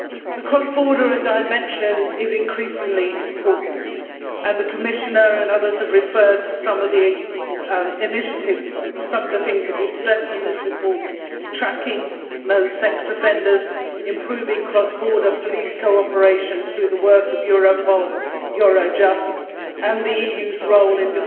The cross-border dimension is increasingly important and the Commissioner and others have referred to some of the initiatives some of the things that we stressed in this report such as tracking known sex offenders, improving cross-border police cooperation through the work of Europol, Eurojust, and the EU's role in